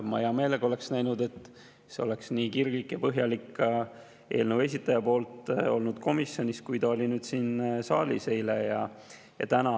Ma hea meelega oleks näinud, et see oleks eelnõu esitaja poolt olnud ka komisjonis nii kirglik ja põhjalik, kui see on olnud nüüd siin saalis eile ja täna.